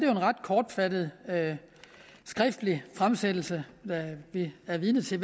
en ret kortfattet skriftlig fremsættelse vi er vidne til